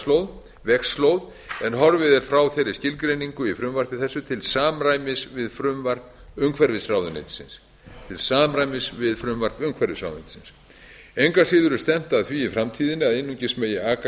merkta vegslóð en horfið er frá þeirri skilgreiningu í frumvarpi þessu til samræmis við frumvarp umhverfisráðuneytisins engu að síður er stefnt að því í framtíðinni að einungis megi aka